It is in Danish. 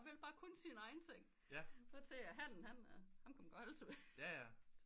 Hun vil bare kun sin egen ting hvor til hannen ham kan man godt holde ved